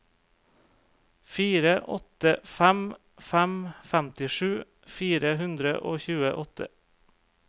fire åtte fem fem femtisju fire hundre og tjueåtte